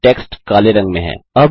अब टेक्स्ट काले रंग में है